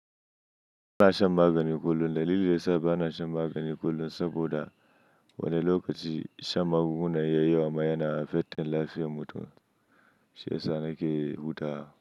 Ba na shan magani kullum. Dalili da yasa ba na shan magani kullum saboda wani lokaci shan magunguna yayi yananan yana affecting lafiyar mutum, shi ya sa na ke bauta.